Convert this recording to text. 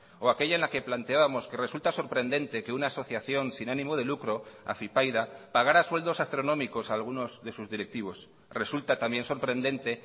o aquella en la que planteábamos que resulta sorprendente que una asociación sin ánimo de lucro afypaida pagara sueldos astronómicos a algunos de sus directivos resulta también sorprendente